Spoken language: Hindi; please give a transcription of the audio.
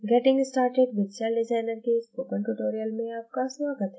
getting started with celldesigner के spoken tutorial में आपका स्वागत है